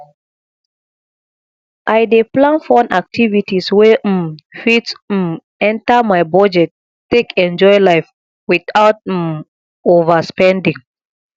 i dey plan fun activities wey um fit um enter my budget take enjoy life without um overspending